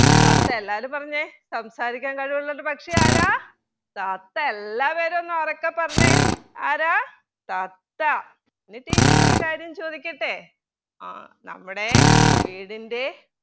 തത്ത എല്ലാവരും പറഞ്ഞെ സംസാരിക്കാൻ കഴിവുളള ഒരു പക്ഷിയാരാ തത്ത എല്ലാവരും ഒന്നുറക്കെ പറഞ്ഞെ ആരാ തത്ത ഇനി teacher ഒരു കാര്യം ആഹ് ചോദിക്കട്ടെ നമ്മുടെ വീടിൻ്റെ